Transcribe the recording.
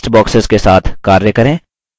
text boxes के साथ कार्य करें